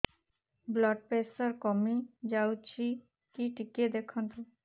blood pressure କମି ଯାଉଛି କି ଟିକେ ଦେଖନ୍ତୁ